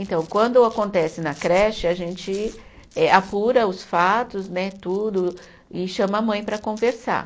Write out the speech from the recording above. Então, quando acontece na creche, a gente eh apura os fatos né, tudo, e chama a mãe para conversar.